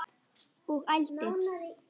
Og ældi.